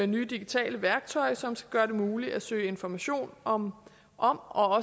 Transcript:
nye digitale værktøj som skal gøre det muligt at søge information om og